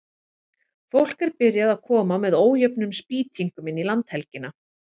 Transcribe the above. Fólk er byrjað að koma með ójöfnum spýtingum inn í landhelgina.